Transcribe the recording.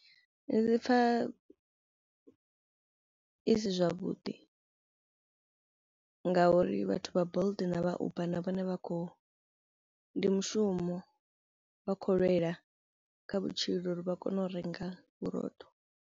Ndi pfha i si zwavhuḓi ngauri vhathu vha Bolt na vha Uber na vhone vha khou ndi mushumo vha khou lwela kha vhutshilo uri vha kono u renga vhurotho.